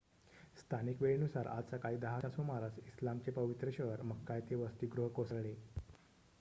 स्थानिक वेळेनुसार आज सकाळी 10 च्या सुमारास इस्लामचे पवित्र शहर मक्का येथे वसतिगृह कोसळले